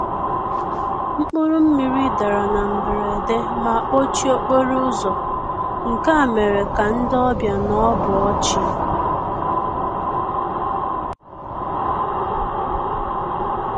Mkpụrụ mmiri dara na mberede ma kpọchie okporo ụzọ, nke a mere ka ndị ọbịa nọbọọchi.